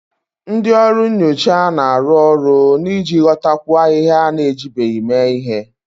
Ndị ọrụ nyocha na-arụ ọrụ n'ịghọtakwu ahịhịa a na-ejibeghị mee ihe